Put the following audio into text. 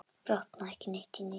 Botnaði ekki neitt í neinu.